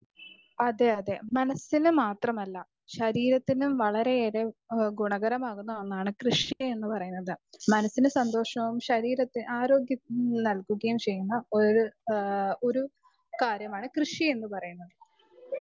Speaker 2 അതെ അതെ മനസ്സിന് മാത്രമല്ല ശരീരത്തിനും വളരെ ഏറെ കുണാകരമാകുനൊന്നാണ് കൃഷി എന്ന് പറയുന്നത് മനസ്സിന് സന്തോഷവും ശരീരത്തിന് ആരോഗ്യത്തിന് നൽകുകയും ചെയ്യും ഒരു കാര്യമാണ് കൃഷി എന്ന് പറയുന്നത്.